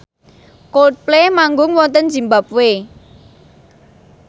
Coldplay manggung wonten zimbabwe